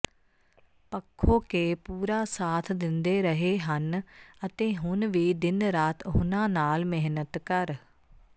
ਪੱਖੋਕੇ ਪੂਰਾ ਸਾਥ ਦਿੰਦੇ ਰਹੇ ਹਨ ਅਤੇ ਹੁਣ ਵੀ ਦਿਨ ਰਾਤ ਉਨ੍ਹਾਂ ਨਾਲ ਮਿਹਨਤ ਕਰ